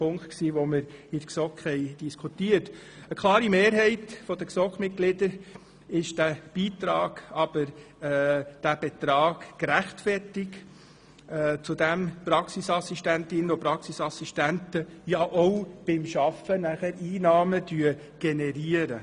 Einer klaren Mehrheit der GSoK-Mitglieder erscheint dieser Betrag gerechtfertigt, weil die Praxisassistentinnen und Praxisassistenten beim Arbeiten ja auch Einnahmen generieren.